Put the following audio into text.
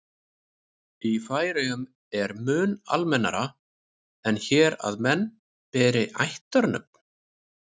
í færeyjum er mun almennara en hér að menn beri ættarnöfn